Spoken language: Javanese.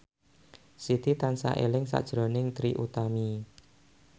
Siti tansah eling sakjroning Trie Utami